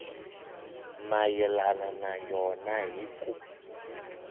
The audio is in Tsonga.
mayelana na yona hi ku